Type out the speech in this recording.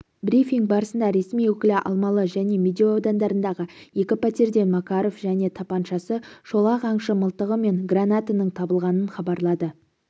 брифинг барысында ресми өкілі алмалы және медеу аудандарындағы екі пәтерден макаров және тапаншасы шолақ аңшы мылтығы мен гранатаның табылғанын хабарлады